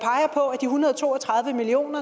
hundrede og to og tredive million